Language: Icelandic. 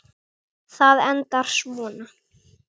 Það endar svona